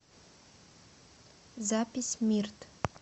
запись мирт